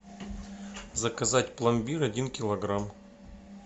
заказать пломбир один килограмм